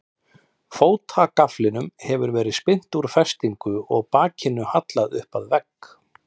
Fótagaflinum hafði verið spyrnt úr festingum og brakinu hallað upp að vegg.